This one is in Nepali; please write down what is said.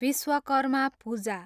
विश्वकर्मा पूजा